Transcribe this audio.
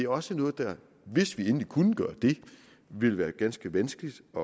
også noget der hvis vi endelig kunne gøre det ville være ganske vanskeligt at